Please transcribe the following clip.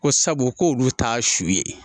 Ko sabu k'olu t'a su ye